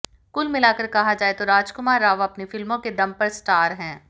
कुल मिलाकर कहा जाए तो राजकुमार राव अपनी फिल्मों के दम पर स्टार हैं